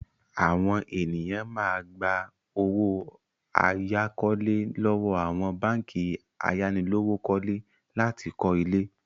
Àwọn ènìyàn máa gba owó àyákọ́lé lọ́wọ́ àwọn báńkì ayánilówókọ́lé láti kọ́ ilé.